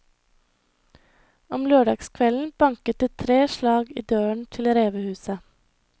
Om lørdagskvelden banket det tre slag i døren til revehuset.